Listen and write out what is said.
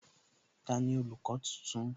Tani olùkọ́ tuntun?